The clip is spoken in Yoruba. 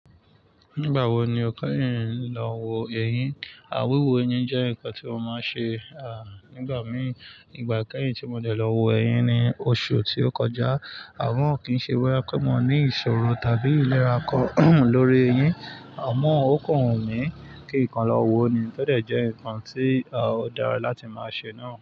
Nígbà wo ni o kẹ́yìn ń lọ wo ẹyin? Àwíwo eyín jẹ́ nǹkan tí mo máa ń ṣe, nígbà míì. Ìgbà kẹ́yìn tó mo dẹ̀ lọ wo eyín ni oṣù tí ó kọjá. Àmọ́ kí n ṣe bóyá mo ní ìṣòro tàbí ìnira kan lórí eyín. Àmọ́ ọ̀kan wùn mí kí ǹ kan lọ wo ni. Ó dẹ̀ jẹ́ nǹkan tí, ó dára láti máa ṣe náà.